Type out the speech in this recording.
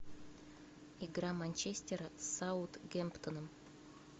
игра манчестера с саутгемптоном